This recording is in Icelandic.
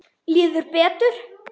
Líður betur.